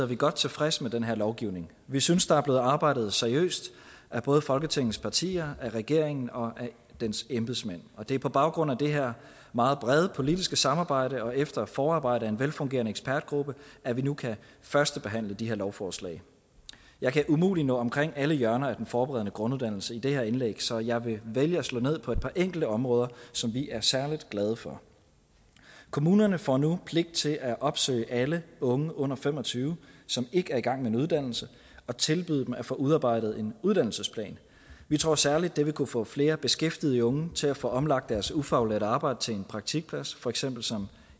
vi godt tilfredse med den her lovgivning vi synes der er blevet arbejdet seriøst af både folketingets partier og af regeringen og dens embedsmænd og det er på baggrund af det her meget brede politiske samarbejde og efter et forarbejde lavet af en velfungerende ekspertgruppe at vi nu kan førstebehandle de her lovforslag jeg kan umuligt nå omkring alle hjørner af den forberedende grunduddannelse i det her indlæg så jeg vil vælge at slå ned på et par enkelte områder som vi er særlig glade for kommunerne får nu pligt til at opsøge alle unge under fem og tyve som ikke er i gang med en uddannelse og tilbyde dem at få udarbejdet en uddannelsesplan vi tror særlig det vil kunne få flere beskæftigede unge til at få omlagt deres ufaglærte arbejde til praktikplads for eksempel som